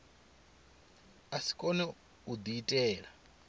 a si kone u diitela